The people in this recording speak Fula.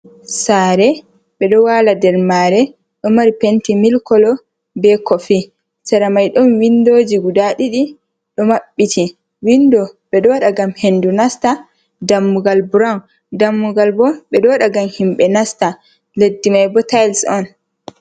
Sare ɓeɗo wala nder mare, ɗo mari penti mil kolo be kofi, saramai ɗon windoji guda ɗiɗi ɗo maɓɓiti. windo ɓedo waɗa ngam hendu nasta, dammugal burawun. dammugal bo ɓeɗo waɗa ngam himɓe nasta leddi mai bo tayis on.